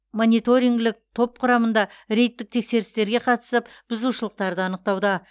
мониторингілік топ құрамында рейдтік тексерістерге қатысып бузышылықтарды анықтауда